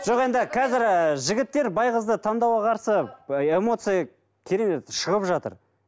жоқ енді қазір ы жігіттер бай қызды таңдауға қарсы эмоция керемет шығып жатыр